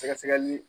Sɛgɛsɛgɛli